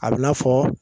A bɛ na fɔ